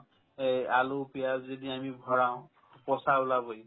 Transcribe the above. এই আলু পিয়াঁজ যদি আমি ভৰাও পচা ওলাবয়ে